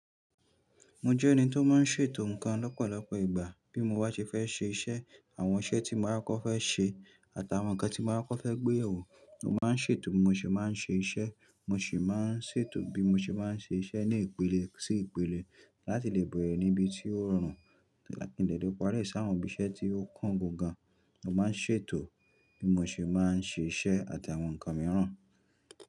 Mo jẹ́ ẹni tó máa n ṣètò nǹkan lọ́pọ̀lọpọ̀ ìgbà. Bí mo bá ṣe fẹ́ ṣe iṣẹ́ àwọn iṣẹ́ tí mo ákọ́ fẹ́ ṣe àtàwọn nǹkan tí mo ákọ́ fẹ́ gbé yèwọ̀, mo máa n ṣètò bí mo ṣe máa n ṣe iṣẹ́. Mo sì máa n ṣètò bí mo ṣe máa n ṣe iṣẹ́ ní ìpele sí ìpele láti lè bẹ̀rẹ̀ níbi tí ó rọrùn mòdẹ̀lẹ̀ pariẹ́ sí àwọn ibi iṣẹ́ tí ó kàn gangan. Mo máa n ṣètò bí mo ṣe máa n ṣe iṣẹ́ àti àwọn nǹkan mìíràn.